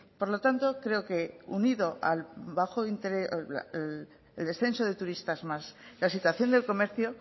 por lo tanto creo que unido al descenso de turistas más la situación del comercio